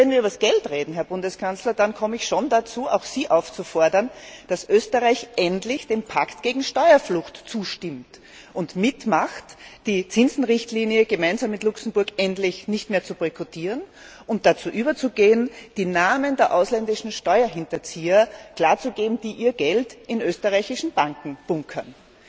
Und wenn wir über Geld reden, Herr Bundeskanzler, dann komme ich schon dazu, auch Sie aufzufordern, dass Österreich endlich dem Pakt gegen Steuerflucht zustimmt und mitmacht, die Zinsrichtlinie gemeinsam mit Luxemburg endlich nicht mehr zu boykottieren, und dazu überzugehen, die Namen der ausländischen Steuerhinterzieher darzulegen, die ihr Geld in österreichischen Banken bunkern.